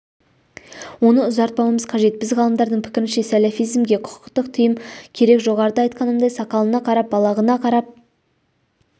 оны ұзартпауымыз қажет біз ғалымдардың пікірінше сәләфизмге құқықтық тыйым керек жоғарыда айтқанымдай сақалына қарап балағына қарап